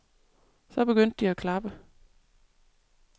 Så begyndte de at klappe.